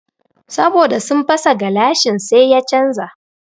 Saboda sun fasa gilashin sai ya canja